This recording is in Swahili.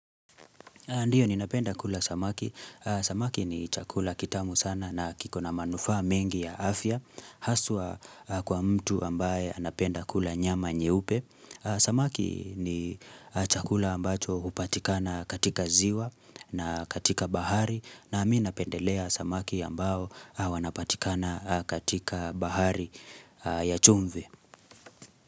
Ndiyo ninapenda kula samaki. Samaki ni chakula kitamu sana na kiko na manufa mengi ya afya. Haswa kwa mtu ambaye napenda kula nyama nyeupe. Samaki ni chakula ambacho upatikana katika ziwa na katika bahari. Na minapendelea samaki ambao wanapatikana katika bahari ya chumvi.